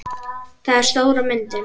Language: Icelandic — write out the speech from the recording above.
Það er stóra myndin.